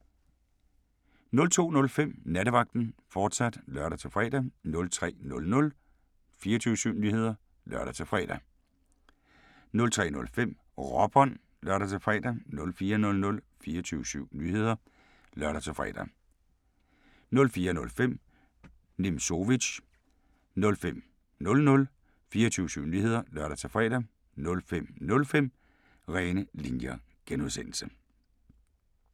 02:05: Nattevagten, fortsat (lør-fre) 03:00: 24syv Nyheder (lør-fre) 03:05: Råbånd (lør-fre) 04:00: 24syv Nyheder (lør-fre) 04:05: Nimzowitsch 05:00: 24syv Nyheder (lør-fre) 05:05: René Linjer (G)